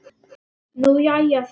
Nú jæja sagði Dadda.